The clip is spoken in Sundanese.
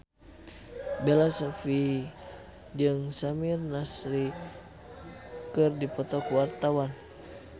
Bella Shofie jeung Samir Nasri keur dipoto ku wartawan